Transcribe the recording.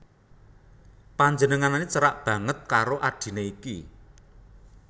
Panjenengané cerak banget karo adhiné iki